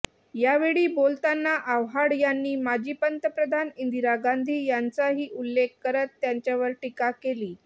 या वेळी बोलताना आव्हाड यांनी माजी पंतप्रधान इंदिरा गांधी यांचाही उल्लेख करत त्यांच्यावर टीका केली